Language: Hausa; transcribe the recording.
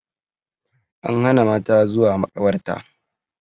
An hana mata zuwa makabarta